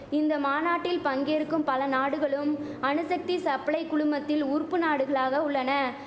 இந்த மாநாட்டில் பங்கேற்கும் பல நாடுகளும் அணுசக்தி சப்ளை குழுமத்தில் உறுப்பு நாடுகளாக உள்ளன